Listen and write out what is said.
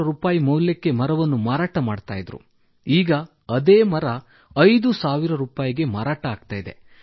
2000 ಮೌಲ್ಯಕ್ಕೆ ಮರವನ್ನು ಮಾರಾಟ ಮಾಡುತ್ತಿದ್ದರು ಈಗ ಅದೇ ಮರ ರೂ 5000 ಕ್ಕೆ ಮಾರಾಟವಾಗುತ್ತಿದೆ